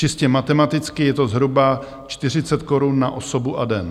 Čistě matematicky je to zhruba 40 korun na osobu a den.